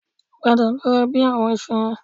Padà lọ ra bẹ àwọn iṣu yẹn